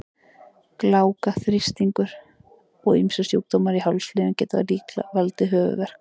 Gláka, háþrýstingur og ýmsir sjúkdómar í hálsliðum geta líka valdið höfuðverk.